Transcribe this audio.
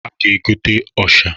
A ga-egota ọsha.